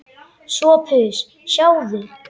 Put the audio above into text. SOPHUS: Sjáðu!